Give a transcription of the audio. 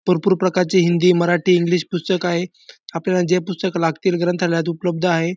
भरपूर प्रकारची हिंदी मराठी इंग्लिश पुस्तक आहे आपल्याला जे पुस्तक लागतील ग्रंथालयात उपलब्ध आहे.